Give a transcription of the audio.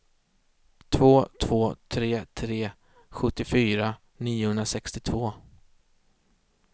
två två tre tre sjuttiofyra niohundrasextiotvå